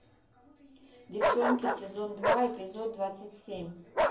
девчонки сезон два эпизод двадцать семь